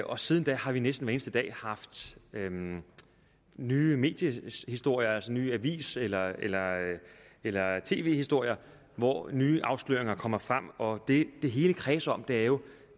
og siden da har vi næsten hver eneste dag haft nye mediehistorier altså nye avis eller tv historier hvor nye afsløringer er kommet frem og det det hele kredser om er jo